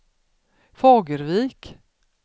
Fagervik